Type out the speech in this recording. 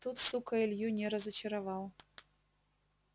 тут сука илью не разочаровал